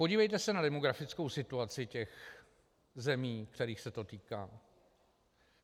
Podívejte se na demografickou situaci těch zemí, kterých se to týká.